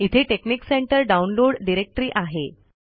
इथे technic center download directory आहे